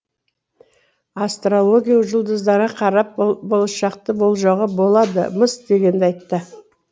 астрология жұлдыздарға қарап болашақты болжауға болады мыс дегенді айтты